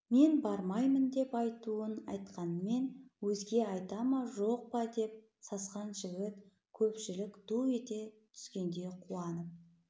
мен бармаймын деп айтуын айтқанмен өзге айта ма жоқ па деп сасқан жігіт көпшілік ду ете түскенде қуанып